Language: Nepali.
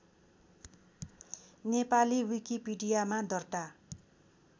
नेपाली विकिपीडियामा दर्ता